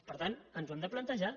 per tant ens ho hem de plantejar